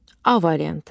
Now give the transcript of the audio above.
A variantı.